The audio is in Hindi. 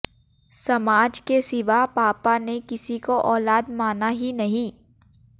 समाज के सिवा पापा ने किसी को औलाद माना ही नहीं